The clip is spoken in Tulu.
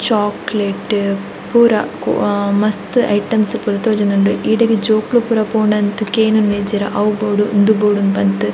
ಚೋಕ್ಲೇಟ್ ಪೂರ ಆ ಮಸ್ತ್ ಐಟಮ್ಸ್ ಪೂರ ತೋಜೊಂದುಂಡು ಇಡೆಗ್ ಜೋಕುಲು ಪೂರ ಪೋಂಡ ಅಂತು ಕೇನುನಿಜ್ಜೆರ್ ಅವು ಬೋಡು ಉಂದು ಬೋಡು ಇಂದ್ ಪನ್ಪರ್.